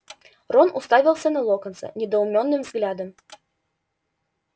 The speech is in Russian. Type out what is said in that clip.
рон уставился на локонса недоуменным взглядом